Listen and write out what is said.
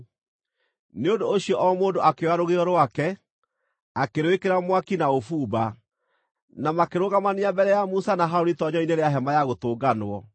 Nĩ ũndũ ũcio o mũndũ akĩoya rũgĩo rwake, akĩrwĩkĩra mwaki na ũbumba, na makĩrũgamania mbere ya Musa na Harũni itoonyero-inĩ rĩa Hema-ya-Gũtũnganwo.